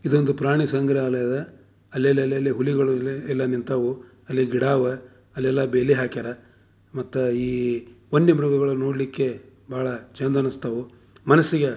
ಇದು ಒಂದು ಪ್ರಾಣಿ ಸಂಗ್ರಾಲಯ ಇದೆ ಅಲ್ಲಿ ಅಲ್ಲಿ ಹುಲಿಗಳು ನಿಂತವು ಅಲ್ಲಿ ಗಿಡವೇ ಅಲ್ಲಿಯಲ್ಲ ಬೇಲಿ ಹಾಕ್ಯಾರ ಮತ್ತೆ ಈ ವನ್ಯ ಮೃಗಗಳ್ನ ನೋಡ್ಲಿಕ್ಕೆ ಚಂದ ಅನ್ನಸ್ತವು ಮನ್ಸಿಗೆ--